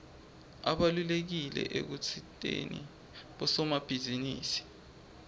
ubalulekile ekusiteni bosomabhizinisi